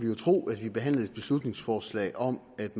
jo tro at vi behandlede et beslutningsforslag om at